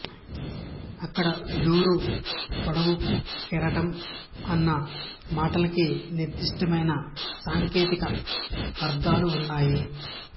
ఇక్కడ జోరు పొడవు కెరటం అన్న మాటలకి నిర్దిష్టమైన సాంకేతిక అర్థాలు ఉన్నాయి